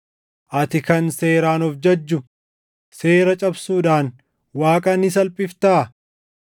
Ati kan Seeraan of jajju seera cabsuudhaan Waaqa ni salphiftaa?